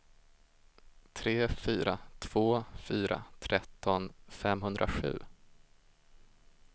tre fyra två fyra tretton femhundrasju